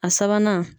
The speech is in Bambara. A sabanan